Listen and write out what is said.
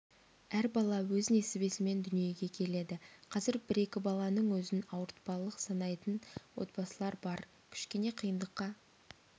әр бала өз несібесімен дүниеге келеді қазір бір-екі баланың өзін ауыртпалық санайтын отбасылар бар кішкене қиындыққа